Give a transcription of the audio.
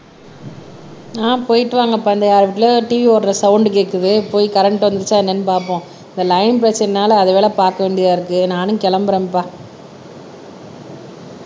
ஆஹ் போயிட்டு வாங்கப்பா இந்த இடத்துல TV ஓடுற சவுண்ட் கேட்குது போய் கரண்ட் வந்துச்சா என்னன்னு பார்ப்போம் இந்த லைன் பிரச்சனைனால அது வேலை பார்க்க வேண்டியதா இருக்கு நானும் கிளம்புறேன்ப்பா